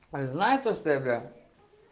знаю то что я бля